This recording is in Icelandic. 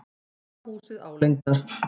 Sá húsið álengdar.